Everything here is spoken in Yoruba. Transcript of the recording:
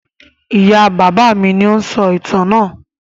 Ìyá-bàbá mi ni ó ń sọ ìtàn náà.